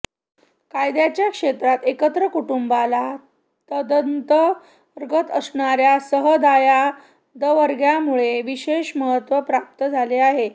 कायद्याच्या क्षेत्रात एकत्र कुटुंबाला तदंतर्गत असणाऱ्या सहदायादवर्गामुळे विशेष महत्त्व प्राप्त झाले आहे